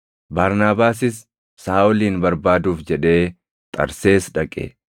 Barnaabaasis Saaʼolin barbaaduuf jedhee Xarsees dhaqe;